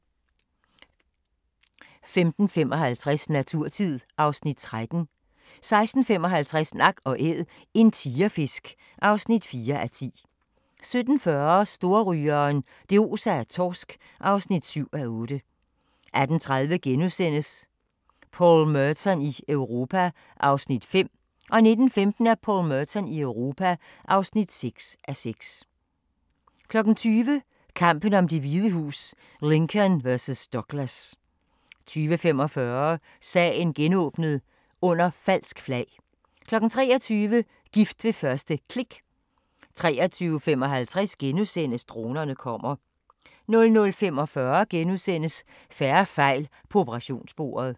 15:55: Naturtid (Afs. 13) 16:55: Nak & Æd – en tigerfisk (4:10) 17:40: Storrygeren – det oser af torsk (7:8) 18:30: Paul Merton i Europa (5:6)* 19:15: Paul Merton i Europa (6:6) 20:00: Kampen om Det Hvide Hus: Lincoln vs. Douglas 20:45: Sagen genåbnet: Under falsk flag 23:00: Gift ved første klik 23:55: Dronerne kommer * 00:45: Færre fejl på operationsbordet *